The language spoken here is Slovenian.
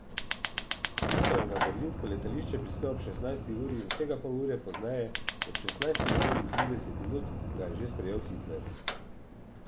Tiso je na berlinsko letališče prispel ob šestnajsti uri in vsega pol ure pozneje, ob šestnajsti uri in trideset minut, ga je že sprejel Hitler.